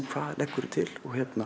hvað leggurðu til